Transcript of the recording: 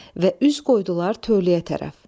Və üz qoydular tövləyə tərəf.